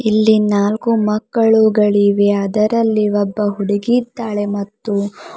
ಇಲ್ಲಿ ನಾಲ್ಕು ಮಕ್ಕಳುಗಳಿವೆ ಅದರಲ್ಲಿ ಒಬ್ಬ ಹುಡುಗಿ ಇದ್ದಾಳೆ ಮತ್ತು--